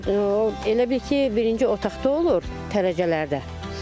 O elə bil ki, birinci otaqda olur dərəcələrdə.